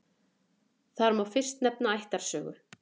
Þar má fyrst nefna ættarsögu.